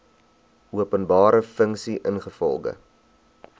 openbare funksie ingevolge